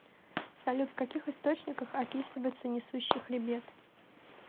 салют в каких источниках описывается несущий хребет